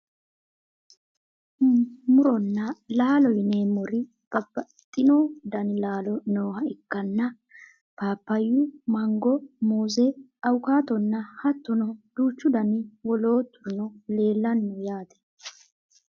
muronna laalo yineemmori babbaxino dani laalo nooha ikkanna, paapayyu, mango, muuze, awukaatonna hattono duuchu dani wolooturino leelanni no yaate .